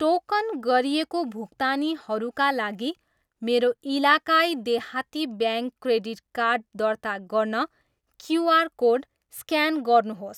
Token गरिएको भुक्तानीहरूका लागि मेरो इलाकाई देहाती ब्याङ्क क्रेडिट कार्ड दर्ता गर्न क्युआर कोड स्क्यान गर्नुहोस्।